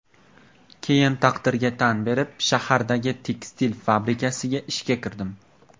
Keyin taqdirga tan berib, shahardagi tekstil fabrikasiga ishga kirdim.